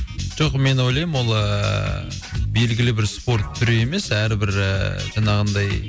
жоқ мен ойлаймын ол ыыы белгілі бір спорт түрі емес әрбір ыыы жаңағындай